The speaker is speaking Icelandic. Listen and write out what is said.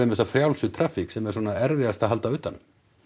þessa frjálsu traffík sem er svona erfiðast að halda utan um